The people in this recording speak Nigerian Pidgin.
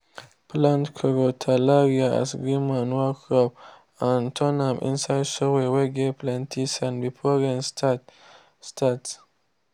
plant crotalaria as green manure crop and turn am inside soil whey get plenty sand before rain start. start.